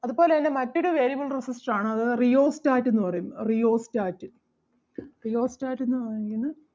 അതുപോലെ തന്നെ മറ്റൊരു variable resistor ആണ് അത് rheostat എന്ന് പറയും rheostat rheostat എന്ന് പറഞ്ഞു കഴിഞ്ഞ